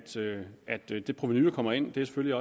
så det det provenu der kommer ind selvfølgelig